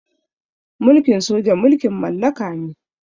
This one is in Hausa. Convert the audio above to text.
Mulkin soja mulkin mallaka ne.